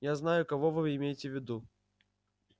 я знаю кого вы имеете в виду